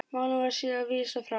Málinu var síðar vísað frá.